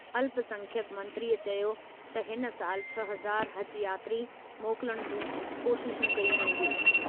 अल्पसंख्यक मंत्रीअ चयो त हिन सालि छह हज़ार हज यात्री मोकलण जूं कोशिशूं कयूं वेंदियूं।